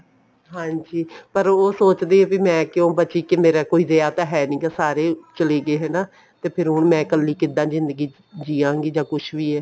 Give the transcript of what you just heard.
ਹਾਂਜੀ ਪਰ ਉਹ ਸੋਚਦੀ ਹੈ ਕੇ ਮੈਂ ਕਿਉਂ ਬਚੀ ਕੋਈ ਰਿਹਾ ਤਾਂ ਨਹੀਂ ਹੈਗਾ ਸਾਰੇ ਚਲੇ ਗਏ ਹਨਾ ਤੇ ਮੈਂ ਹੁਣ ਕੱਲੀ ਕਿੱਦਾਂ ਜਿੰਦਗੀ ਜਿਉਂਗੀ ਜਾਂ ਕੁੱਝ ਵੀ ਹੈ